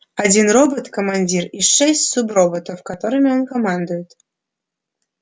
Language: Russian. один робот командир и шесть суброботов которыми он командует